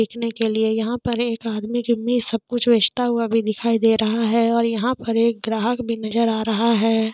बेचने के लिए यहाँ पे एक आदमी सब कुछ बेचता हुए भी दिखाई दे रहा है और यहाँ पर एक ग्राहक भी नजर आ रहा है।